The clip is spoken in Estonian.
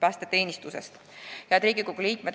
Head Riigikogu liikmed!